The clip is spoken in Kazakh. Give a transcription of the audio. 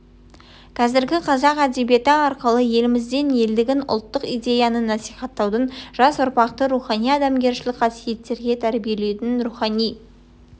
қазіргі қазақ әдебиеті арқылы еліміздің елдігін ұлттық идеяны насихаттаудың жас ұрпақты рухани адамгершілік қасиеттерге тәрбиелеудің рухани